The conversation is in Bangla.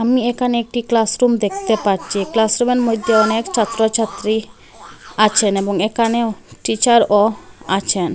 আমি একানে একটি ক্লাসরুম দেখতে পাচ্চি ক্লাসরুম -এর মইদ্যে অনেক ছাত্রছাত্রী আছেন এবং একানেও টিচার -ও আছেন।